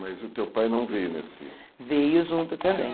Mas o teu pai não veio nesse... Veio junto também.